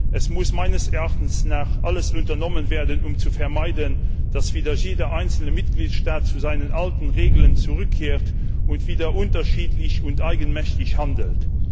Es muss meines Erachtens alles unternommen werden, um zu vermeiden, dass wieder jeder einzelne Mitgliedstaat zu seinen alten Regeln zurückkehrt und wieder unterschiedlich und eigenmächtig handelt.